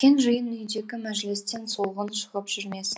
үлкен жиын үйдегі мәжілістен солғын шығып жүрмесін